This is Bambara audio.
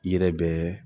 I yɛrɛ bɛ